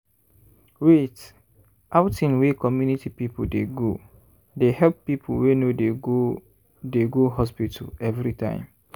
wait- outing wey community people dey go they help people wey no dey go dey go hospital everytime.